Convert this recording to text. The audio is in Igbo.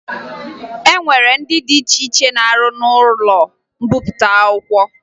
E nwere ndị dị iche iche na-arụ n'ụlọ mbipụta akwụkwọ